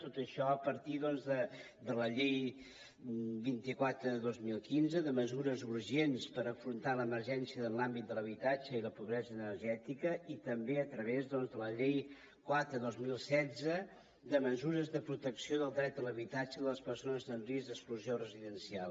tot això a partir de la llei vint quatre dos mil quinze de mesures urgents per afrontar l’emergència en l’àmbit de l’habitatge i la pobresa energètica i també a través de la llei quatre dos mil setze de mesures de protecció del dret a l’habitatge i les persones amb risc d’exclusió residencial